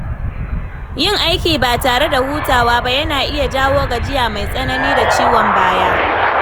Yin aiki ba tare da hutawa ba yana iya jawo gajiya mai tsanani da ciwon baya.